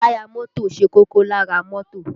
Táyà mọ́tò ṣe kókó lára mọ́tò